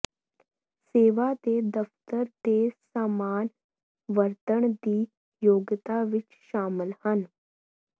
ਸੇਵਾ ਦੇ ਦਫਤਰ ਦੇ ਸਾਮਾਨ ਵਰਤਣ ਦੀ ਯੋਗਤਾ ਵਿੱਚ ਸ਼ਾਮਲ ਹਨ